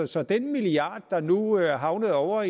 så den milliard der nu er havnet ovre